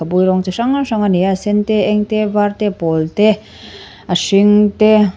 rawng chi hrang hrang a hi a a sen te a eng te a var te a pawl te a hring te--